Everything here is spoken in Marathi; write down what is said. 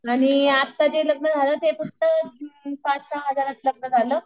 आणि आत्ता जे लग्न झालं ते पाच सहा हजारात लग्न झालं